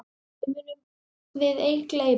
Þér munum við ei gleyma.